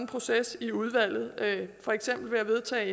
proces i udvalget for eksempel ved at vedtage